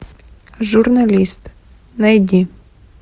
журналист найди